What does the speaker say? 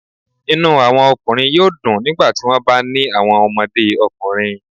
Inu awọn ọkunrin yoo dun nigbati wọn ba ni awọn ọmọde ọkunrin